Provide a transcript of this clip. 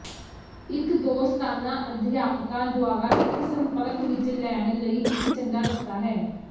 ਇੱਕ ਦੋਸਤਾਨਾ ਅਧਿਆਪਕਾਂ ਦੁਆਰਾ ਇੱਕ ਸੰਪਰਕ ਵੀ ਲੈਣ ਲਈ ਇੱਕ ਚੰਗਾ ਰਸਤਾ ਹੈ